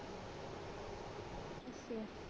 ਅੱਛਾ